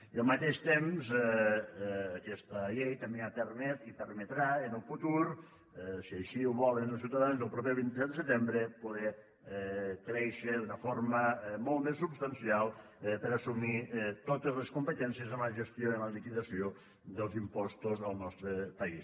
i al mateix temps aquesta llei també ha permès i permetrà en un futur si així ho volen els ciutadans el proper vint set de setembre poder créixer d’una forma molt més substancial per a assumir totes les competències en la gestió i en la liquidació dels impostos al nostre país